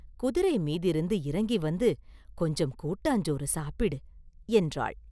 குதிரை மீதிருந்து இறங்கி வந்து கொஞ்சம் கூட்டாஞ்சோறு சாப்பிடு!” என்றாள்.